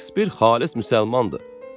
Şekspir xalis müsəlmandır.